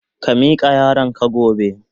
Ka mika yaron ka gobe.